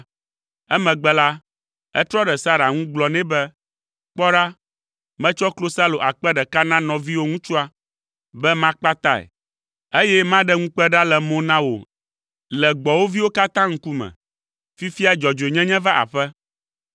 Emegbe la, etrɔ ɖe Sara ŋu gblɔ nɛ be, “Kpɔ ɖa, metsɔ klosalo akpe ɖeka na ‘nɔviwò ŋutsua’ be makpatae, eye maɖe ŋukpe ɖa le mo na wò le gbɔwòviwo katã ŋkume. Fifia dzɔdzɔenyenye va aƒe.”